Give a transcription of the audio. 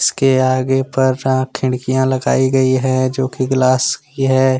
उसके आगे पर खिड़कियां लगाई गई है जो की ग्लास की है।